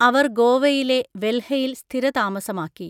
അവർ ഗോവയിലെ വെൽഹയിൽ സ്ഥിരതാമസമാക്കി.